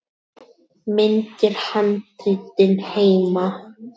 Myndir: Handritin heima.